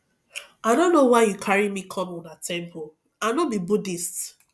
i no know why you carry me come una temple i no be buddhist